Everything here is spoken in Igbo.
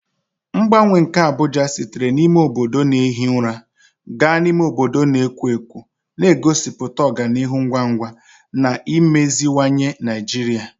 Mgbanwe nke Abuja site n'ime obodo na-ehi ụra gaa n'ime obodo na-ekwo ekwo na-egosipụta ọganihu ngwa ngwa na imeziwanye Naijiria.